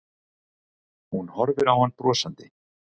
Hún horfir á hann brosandi.